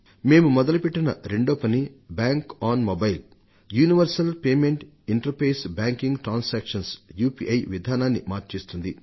మేము మొదలుపెట్టిన రెండో పని bank on mobile universal payment interface banking transactions UPI విధానాన్ని మార్చేస్తుంది